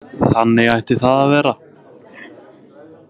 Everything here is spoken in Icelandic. Þannig ætti það að vera.